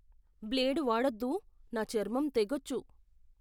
Blade వాడొద్దు. నా చర్మం తెగొచ్చు.